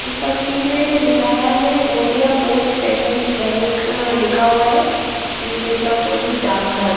इस तस्वीर में दिखाया हैं इंडिया पोस्ट पेमेंट्स बैंक लिखा हुआ हैं श्री कृष्णापुरी डाग घर--